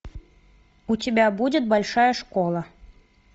у тебя будет большая школа